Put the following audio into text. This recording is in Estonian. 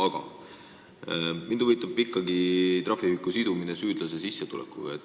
Aga mind huvitab ikkagi trahviühiku sidumine süüdlase sissetulekuga.